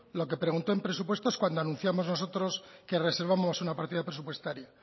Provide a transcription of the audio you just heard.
lo que preguntó en presupuestos cuando anunciamos nosotros que reservamos una partida presupuestaria